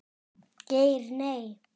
Geir Nei.